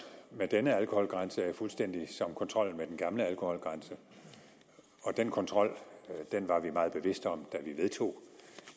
med denne alkoholgrænse er fuldstændig som kontrollen med den gamle alkoholgrænse og den kontrol var vi meget bevidste om da vi vedtog